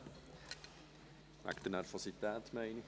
Wegen der Nervosität, meine ich.